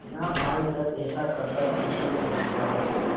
ना आज तक ऐसा करतब किसी ने देखा हो